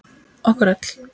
Okkur öll.